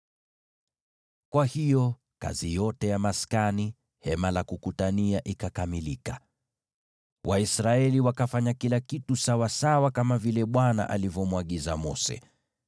Kwa hiyo kazi yote ya maskani, Hema la Kukutania ikakamilika. Waisraeli wakafanya kila kitu sawasawa kama vile Bwana alivyomwagiza Mose.